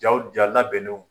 Jaw ja labɛnnew.